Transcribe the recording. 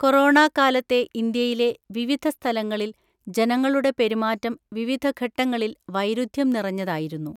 Corona കാലത്തെ ഇന്ത്യയിലെ, വിവിധ സ്ഥലങ്ങളില് ജനങ്ങളുടെ പെരുമാറ്റം വിവിധഘട്ടങ്ങളില് വൈരുദ്ധ്യം നിറഞ്ഞതായിരുന്നു.